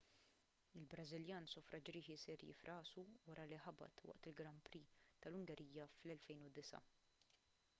il-brażiljan sofra ġrieħi serji f'rasu wara li ħabat waqt il-grand prix tal-ungerija tal-2009